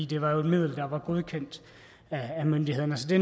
det var jo et middel der var godkendt af myndighederne det